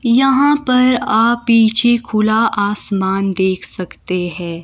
यहां पर आप पीछे खुला आसमान देख सकते हैं।